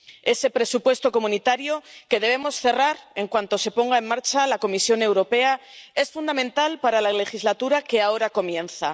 Ese presupuesto comunitario que debemos cerrar en cuanto se ponga en marcha la Comisión Europea es fundamental para la legislatura que ahora comienza.